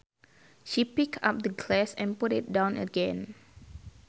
She picked up the glass and put it down again